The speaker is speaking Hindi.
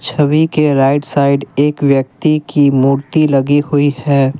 छवि के राइट साइड एक व्यक्ति की मूर्ति लगी हुई है।